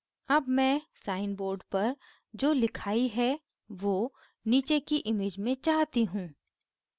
अब मैं sign board पर जो लिखाई है now नीचे की image में चाहती हूँ